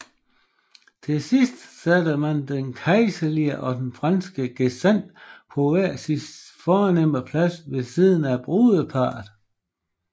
Til sidst satte man den kejserlige og den franske gesandt på hver sin fornemme plads ved siden af brudeparret